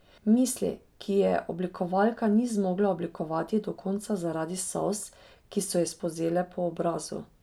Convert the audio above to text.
Misli, ki je oblikovalka ni zmogla oblikovati do konca zaradi solz, ki so ji spolzele po obrazu.